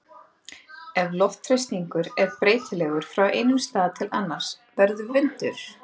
Ef loftþrýstingur er breytilegur frá einum stað til annars verður vindur.